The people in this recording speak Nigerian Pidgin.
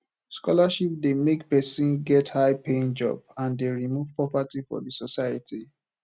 scholarship de make persin get high paying job and de remove poverty for the society